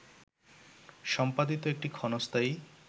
সম্পাদিত একটি ক্ষণস্থায়ী